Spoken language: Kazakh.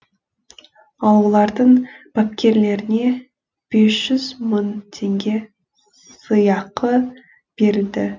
ал олардың бапкерлеріне бес жүз мың теңге сыйақы берілді